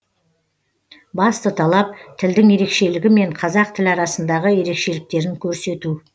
басты талап тілдің ерекшелігі мен қазақ тілі арасындағы ерекшеліктерін көрсету